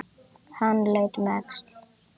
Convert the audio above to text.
Hann leit um öxl.